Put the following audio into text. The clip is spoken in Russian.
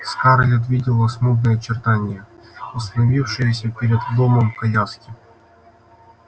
скарлетт видела смутные очертания остановившейся перед домом коляски